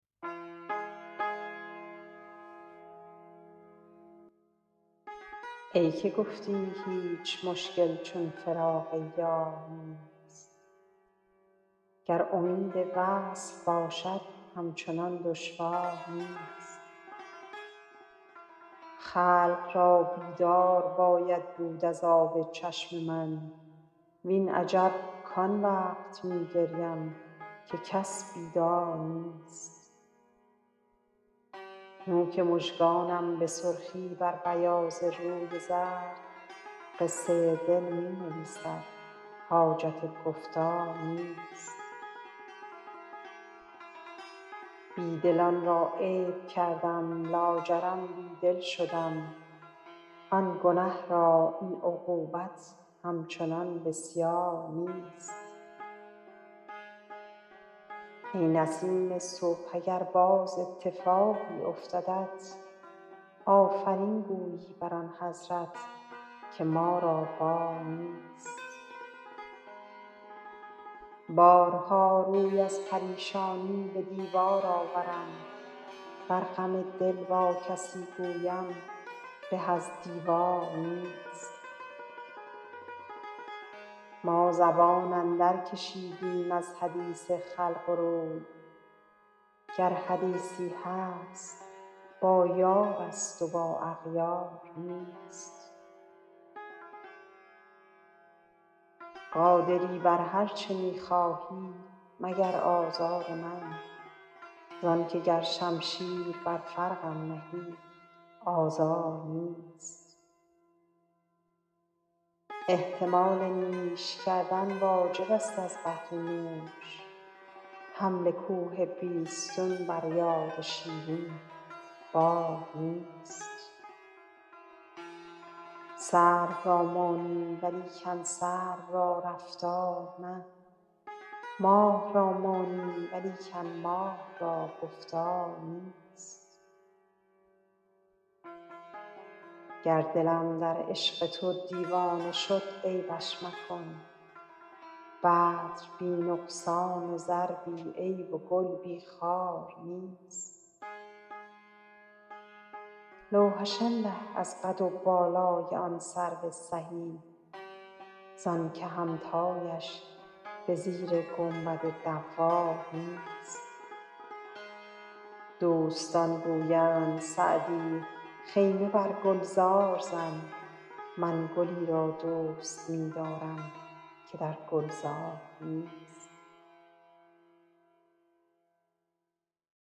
ای که گفتی هیچ مشکل چون فراق یار نیست گر امید وصل باشد همچنان دشوار نیست خلق را بیدار باید بود از آب چشم من وین عجب کان وقت می گریم که کس بیدار نیست نوک مژگانم به سرخی بر بیاض روی زرد قصه دل می نویسد حاجت گفتار نیست بی دلان را عیب کردم لاجرم بی دل شدم آن گنه را این عقوبت همچنان بسیار نیست ای نسیم صبح اگر باز اتفاقی افتدت آفرین گویی بر آن حضرت که ما را بار نیست بارها روی از پریشانی به دیوار آورم ور غم دل با کسی گویم به از دیوار نیست ما زبان اندرکشیدیم از حدیث خلق و روی گر حدیثی هست با یارست و با اغیار نیست قادری بر هر چه می خواهی مگر آزار من زان که گر شمشیر بر فرقم نهی آزار نیست احتمال نیش کردن واجبست از بهر نوش حمل کوه بیستون بر یاد شیرین بار نیست سرو را مانی ولیکن سرو را رفتار نه ماه را مانی ولیکن ماه را گفتار نیست گر دلم در عشق تو دیوانه شد عیبش مکن بدر بی نقصان و زر بی عیب و گل بی خار نیست لوحش الله از قد و بالای آن سرو سهی زان که همتایش به زیر گنبد دوار نیست دوستان گویند سعدی خیمه بر گلزار زن من گلی را دوست می دارم که در گلزار نیست